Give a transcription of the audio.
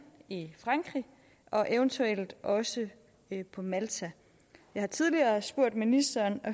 i frankrig og eventuelt også på malta jeg har tidligere spurgt ministeren og